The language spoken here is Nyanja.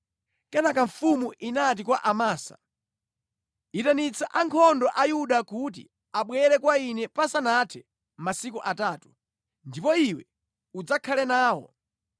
Kenaka mfumu inati kwa Amasa, “Itanitsa ankhondo a Yuda kuti abwere kwa ine pasanathe masiku atatu, ndipo iwe udzakhale nawo.”